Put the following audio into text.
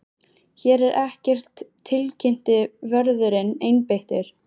Hér er ekkert tilkynnti vörðurinn einbeittur.